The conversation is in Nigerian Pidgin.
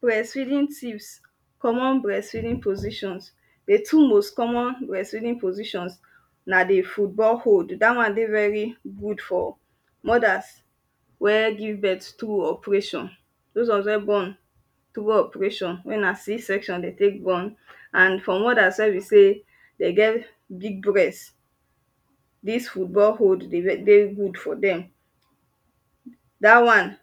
breast feeding tips commo breast feeding positions di two most common breast feeding positioins na di football hold dat won dey very good for mothers wey give birth through operation those won wen born through operation we na c section wen dey tek born and for mothers wen be sey den get big breast dis football hold dey good for dem da wan